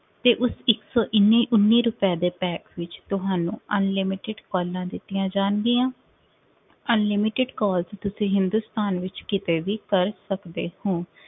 ਤੇ ਉਸ ਇੱਕ ਸੌ ਇੱਨੀ ਉੱਨੀ ਰੁਪਏ ਦੇ pack ਵਿੱਚ ਤੁਹਾਨੂੰ unlimited calls ਦਿੱਤੀਆਂ ਜਾਣਗੀਆਂ unlimited calls ਤੁਸੀ ਹਿੰਦੁਸਤਾਨ ਵਿੱਚ ਕਿਤੇ ਵੀ ਕਰ ਸਕਦੇ ਹੋ।